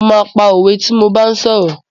Mo máa pa òwe tí mo bá ń sọ̀rọ̀.